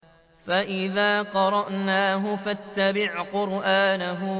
فَإِذَا قَرَأْنَاهُ فَاتَّبِعْ قُرْآنَهُ